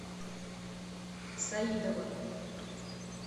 саидовым